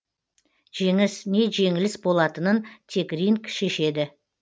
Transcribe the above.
жеңіс не жеңіліс болатынын тек ринг шешеді